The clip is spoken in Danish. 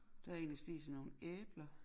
Der er en der spiser nogle æbler